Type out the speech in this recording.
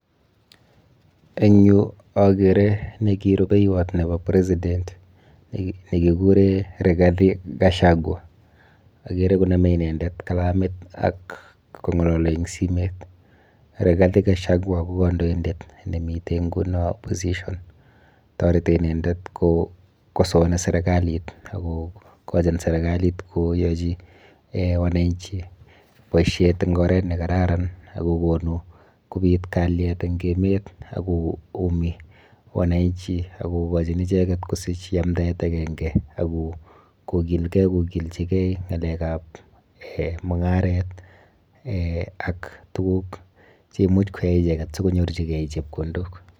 Eng yu akere neki rubeiwot nepo president nekikure Rigathi Gachagua. Akere konome inendet kalamit ak kong'alali eng simet. Rigathi Gachagua ko kandoindet nemite nguno opposition toreti inendet kokosoani serikalit ak kokochin serikalit koyachi eh wananchi boishet eng oret nekararan akokonu kobit kalyet eng emet ak koumi wananchi akokochin icheket kosich yamdaet akenke ak kokilgei kokilchikei ng'alekap eh mung'aret eh ak tuguk cheimuh koyai icheket sikonyorchikei chepkondok.